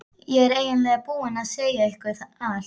Ég er eiginlega búinn að segja ykkur allt.